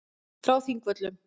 Frá Þingvöllum.